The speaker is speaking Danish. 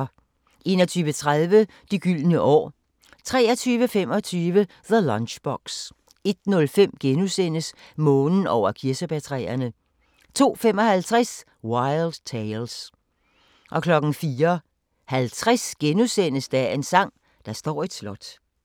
21:30: De gyldne år 23:25: The Lunchbox 01:05: Månen over kirsebærtræerne * 02:55: Wild Tales 04:50: Dagens sang: Der står et slot *